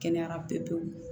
Kɛnɛyara pewu